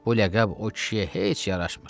Bu ləqəb o kişiyə heç yaraşmır.